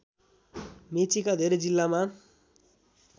मेचीका धेरै जिल्लामा